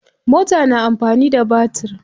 Mota na amfani da batir.